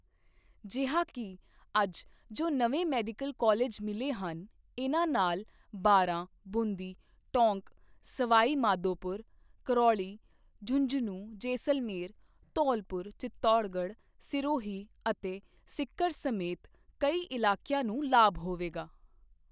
ਜਿਹਾ ਕਿ ਅੱਜ ਜੋ ਨਵੇਂ ਮੈਡੀਕਲ ਕਾਲਜ ਮਿਲੇ ਹਨ, ਇਨ੍ਹਾਂ ਨਾਲ ਬਾਰਾਂ, ਬੂੰਦੀ, ਟੌਂਕ, ਸਵਾਈ ਮਾਧੋਪੁਰ, ਕਰੌਲੀ, ਝੁੰਝਨੂ, ਜੈਸਲਮੇਰ, ਧੌਲਪੁਰ, ਚਿਤੌੜਗੜ੍ਹ, ਸਿਰੋਹੀ ਅਤੇ ਸੀਕਰ ਸਮੇਤ ਕਈ ਇਲਾਕਿਆਂ ਨੂੰ ਲਾਭ ਹੋਵੇਗਾ।